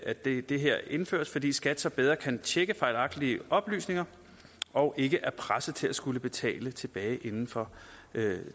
at det det her indføres fordi skat så bedre kan tjekke fejlagtige oplysninger og ikke er presset til at skulle betale tilbage inden for